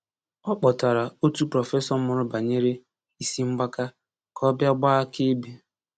Ọ kpọtara otu prọfesọ mụrụ banyere isi mgbaka ka ọ bịa gbaa akaebe.